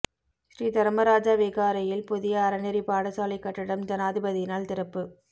ஸ்ரீ தர்மராஜ விகாரையில் புதிய அறநெறி பாடசாலைக் கட்டடம் ஜனாதிபதியினால் திறப்பு